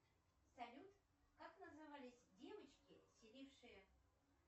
салют как назывались девочки селившие